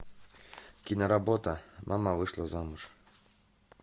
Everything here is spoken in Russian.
киноработа мама вышла замуж